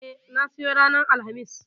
E, na siyo ranar Alhamis.